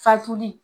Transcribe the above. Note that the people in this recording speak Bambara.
Fatuli